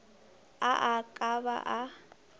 a a ka ba a